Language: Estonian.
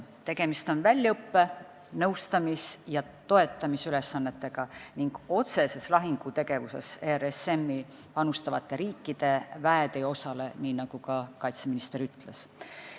Tegemist on väljaõppe-, nõustamis- ja toetamisülesannetega ning otseses lahingutegevuses RSM-i panustavate riikide väed ei osale, nii nagu ka kaitseminister ütles.